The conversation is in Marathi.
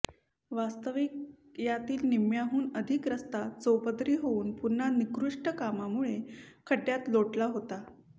वास्तविक यातील निम्म्याहून अधिक रस्ता चौपदरी होऊन पुन्हा निकृष्ट कामामुळे खड्ड्यात लोटला होता